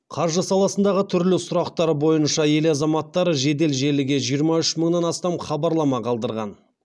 қаржы саласындағы түрлі сұрақтар бойынша ел азаматтары жедел желіге жиырма үш мыңнан астам хабарлама қалдырған